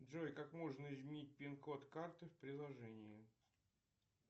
джой как можно изменить пин код карты в приложении